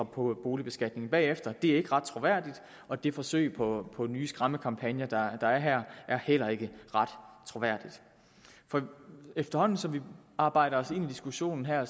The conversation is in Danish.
på boligbeskatningen bagefter det er ikke ret troværdigt og det forsøg på på nye skræmmekampagner der er her er heller ikke ret troværdigt efterhånden som vi arbejder os ind i diskussionen her